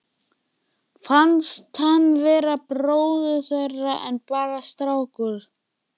Fannst hann vera bróðir þeirra en bara strákur.